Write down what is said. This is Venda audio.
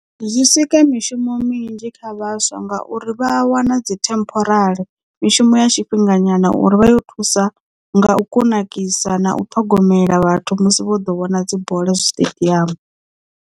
Zwi sika mishumo minzhi kha vhaswa ngauri vha wana dzi temporary mishumo ya tshifhinga nyana uri vha yo thusa nga u kunakisa na u ṱhogomela vhathu musi vho ḓo vhona dzi bola zwiṱediamu.